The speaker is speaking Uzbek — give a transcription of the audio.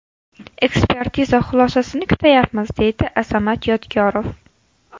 Ekspertiza xulosasini kutayapmiz, deydi Azamat Yodgorov.